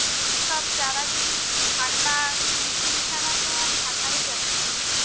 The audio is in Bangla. সব যারা যেই ঠান্ডা machine ছাড়া তো আর থাকাই যাচ্ছে না।